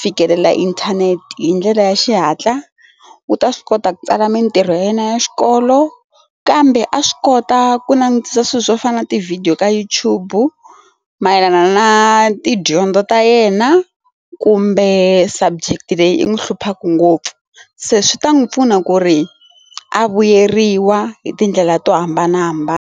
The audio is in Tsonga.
fikelela inthanete hi ndlela ya xihatla u ta swi kota ku tsala mintirho ya yena ya xikolo kambe a swi kota ku langutisisa swilo swo fana na ti video ka YouTube mayelana na tidyondzo ta yena kumbe subject leyi i n'wi hluphaka ngopfu se swi ta n'wi pfuna ku ri a vuyeriwa hi tindlela to hambanahambana.